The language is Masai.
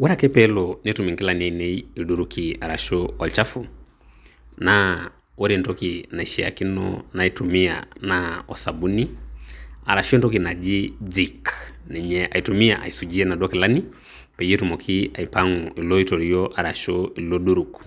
ore ake pee elo netum inkilani ainei ilduruki aashu, olchafu naa ore entoki naishaakino naitumia naa osabuni, arashu entoki naji j jik ninye aitumia aisujie inaduo kilani, peyie etumoki aipang'u ilooiterieo arashu ilo duruk.